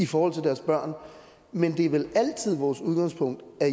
for deres børn men det er vel altid vores udgangspunkt at